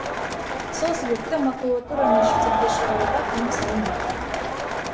сол себепті макулатураны шетелге шығаруға тыйым салынбақ